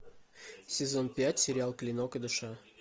сезон пять сериал клинок и душа